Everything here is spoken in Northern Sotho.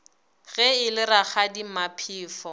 ge e le rakgadi maphefo